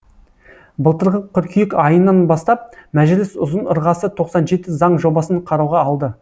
былтырғы қыркүйек айынан бастап мәжіліс ұзын ырғасы тоқсан жеті заң жобасын қарауға алды